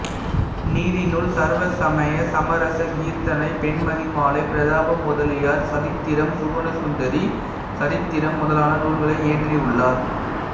நீதிநூல் சர்வசமய சமரசக் கீர்த்தனை பெண்மதிமாலை பிரதாப முதலியார் சதித்திரம் சுகுணசுந்தரி சரித்திரம் முதலான நூல்களை இயற்றியுள்ளார்